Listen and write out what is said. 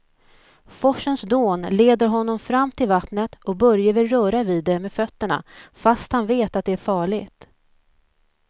Forsens dån leder honom fram till vattnet och Börje vill röra vid det med fötterna, fast han vet att det är farligt.